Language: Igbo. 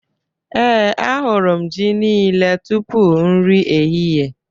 Ee, ahụrụ m ji niile tupu nri ehihie